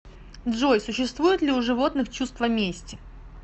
джой существует ли у животных чувство мести